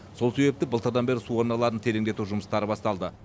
сол себепті былтырдан бері су арналарын тереңдету жұмыстары басталды